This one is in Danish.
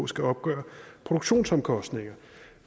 skal opgøre produktionsomkostninger